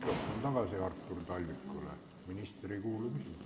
Palun anda mikrofon tagasi Artur Talvikule, sest minister ei kuule küsimust.